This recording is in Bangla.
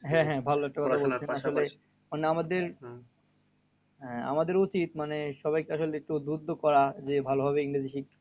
হ্যাঁ হ্যাঁ মানে আমাদের হ্যাঁ আমাদের উচিত মানে সবাইকে আসলে একটু উদ্বুদ্ধ করা যে, ভালোভাবে ইংরেজি শিখতে।